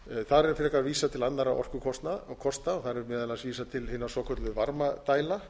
þar er frekar vísað til annarra orkukosta þar er meðal annars vísað til hinnar svokölluðu varmadælna